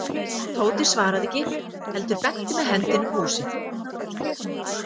Tóti svaraði ekki heldur benti með hendinni um húsið.